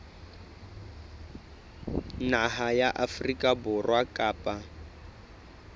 naha ya afrika borwa kapa